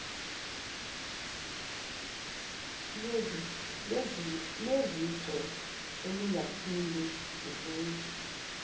lwezicwe olungaphinde luvele